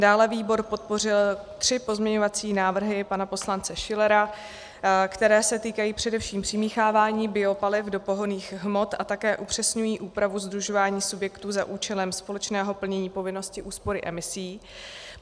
Dále výbor podpořil tři pozměňovací návrhy pana poslance Schillera, které se týkají především přimíchávání biopaliv do pohonných hmot a také upřesňují úpravu sdružování subjektů za účelem společného plnění povinnosti úspory emisí.